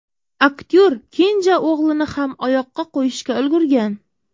Aktyor kenja o‘g‘lini ham oyoqqa qo‘yishga ulgurgan.